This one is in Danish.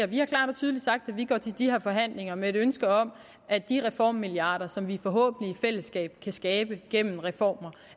vi har klart og tydeligt sagt at vi går til de her forhandlinger med et ønske om at de reformmilliarder som vi forhåbentlig i fællesskab kan skabe gennem reformer